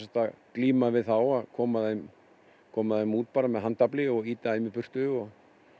glíma við þá að koma þeim koma þeim út bara með handafli og ýta þeim í burtu og